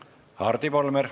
Hardi Volmer.